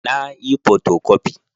Na yi fotokofi